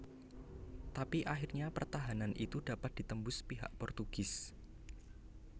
Tapi akhirnya pertahanan itu dapat ditembus pihak Portugis